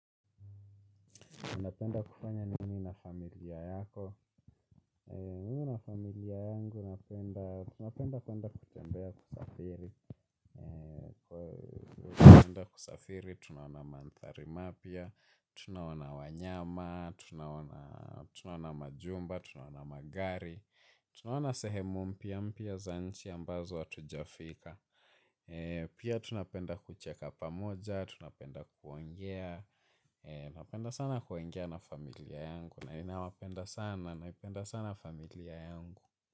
Tuna penda kufanya nini na familia yako. Mimi na familia yangu, tuna penda kuenda kutembea kusafiri. Tuna penda kusafiri, tunaona manthari mapya, tunaona wanyama, tunaona majumba, tunaona magari, tunaona sehemu mpya mpya za nchi ambazo hatuja fika. Pia tuna penda kucheka pamoja, tuna penda kuongea, napenda sana kuongea na familia yangu. Nina wapenda sana, napenda sana familia yangu.